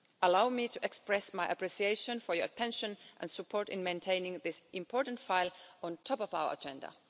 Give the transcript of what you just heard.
Allow me to express my appreciation for your attention and support in maintaining this important file at the top of our agenda.